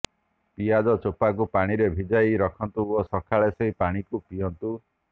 ପିଆଜ ଚୋପାକୁ ପାଣିରେ ଭିଜାଇ ରଖନ୍ତୁ ଓ ସକାଳେ ସେହି ପାଣିକୁ ପିଅନ୍ତୁ